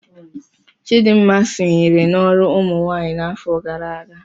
Chidinma sonyere n'ọrụ ụmụnwaanyị n'afọ gara aga.